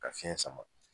Ka fiɲɛ sama